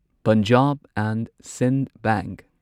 Punjab and Sind bank